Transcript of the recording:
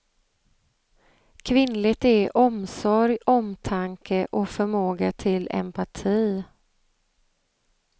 Kvinnligt är omsorg, omtanke och förmåga till empati.